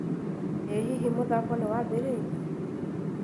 ĩ hihi mũthako nĩwambĩrĩirie?